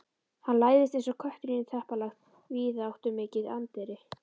Hann læðist eins og köttur inn í teppalagt, víðáttumikið anddyri.